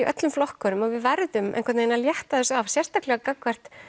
öllum flokkunum og við verðum einhvern veginn að létta þessu af sérstaklega gagnvart